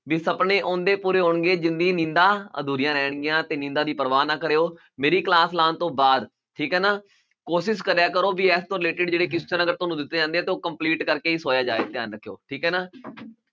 ਵੀ ਸਪਨੇ ਉਹਨਾਂ ਦੇ ਪੂਰੇ ਹੋਣਗੇ ਜਿਹਨਾਂ ਦੀ ਨੀਂਦਾਂ ਅਧੂਰੀਆਂ ਰਹਿਣਗੀਆਂ ਤੇ ਨੀਂਦਾ ਦੀ ਪਰਵਾਹ ਨਾ ਕਰਿਓ ਮੇਰੀ class ਲਾਉਣ ਤੋਂ ਬਾਅਦ ਠੀਕ ਹੈ ਨਾ ਕੋਸ਼ਿਸ਼ ਕਰਿਆ ਕਰੋ ਵੀ related ਅਗਰ ਤੁਹਾਨੂੰ ਦਿੱਤੀ ਜਾਂਦੀ ਹੈ ਤਾਂ ਉਹ complete ਕਰਕੇ ਹੀ ਸੋਇਆ ਜਾਏ ਧਿਆਨ ਰੱਖਿਓ ਠੀਕ ਹੈ ਨਾ